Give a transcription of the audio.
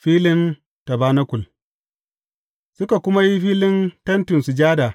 Filin tabanakul Suka kuma yi filin Tentin Sujada.